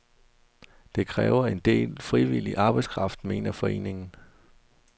Det kræver en del frivillig arbejdskraft, mener foreningen.